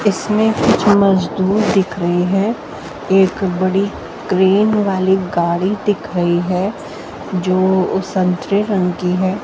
इसमें कुछ मजदूर दिख रही हैं एक बड़ी क्रेन वाली गाड़ी दिख रही है जो संतरे रंग है।